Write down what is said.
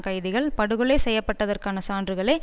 கைதிகள் படுகொலை செய்யப்பட்டதற்கான சான்றுகளை